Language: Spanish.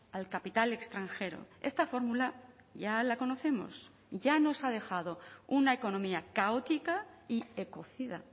al capital extranjero esta fórmula ya la conocemos ya nos ha dejado una economía caótica y ecocida